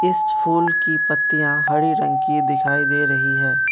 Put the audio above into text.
इस फूल की पत्तियां हरे रंग की दिखाई दे रही है।